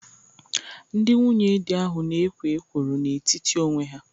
Ndị nwunye di ahụ na-ekwo ekworo n'etiti onwe ha